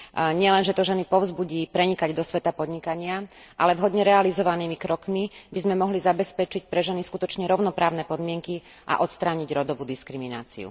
Nielen, že to ženy povzbudí prenikať do sveta podnikania, ale vhodne realizovanými krokmi by sme mohli zabezpečiť pre ženy skutočne rovnoprávne podmienky a odstrániť rodovú diskrimináciu.